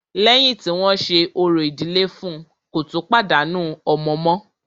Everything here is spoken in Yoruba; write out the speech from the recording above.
Lẹ́yìn tí wọ́n ṣe orò ìdílé fún ùn, kò tún pàdánù ọmọ mọ́.